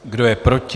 Kdo je proti?